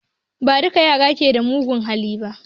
Ba duka yara ke da mugun hali ba